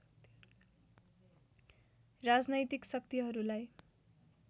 राजनैतिक शक्तिहरूलाई